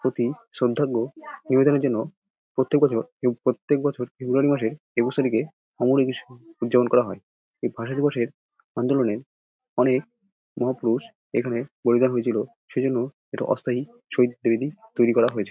প্রতি শ্রদ্ধার্ঘ নিবেদনের জন্য প্রত্যেক বছর প্রত্যেক বছর ফেব্রুয়ারি মাসে একুশ তারিখে উদযাপন করা হয় এই ভাষাদিবসে আন্দোলনে অনেক মহাপুরুষ এখানে বলিদান হয়েছিল সেই জন্য ইটা অস্থায়ী শহীদ ত্রিবেদী তৈরী করা হয়েছে।